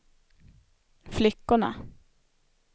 flickorna